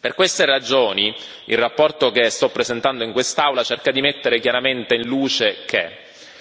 Per queste ragioni, la relazione che sto presentando in quest'Aula cerca di mettere chiaramente in luce che